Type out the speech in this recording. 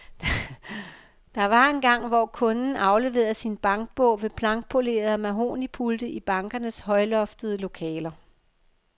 Der var engang, hvor kunden afleverede sin bankbog ved blankpolerede mahognipulte i bankernes højloftede lokaler.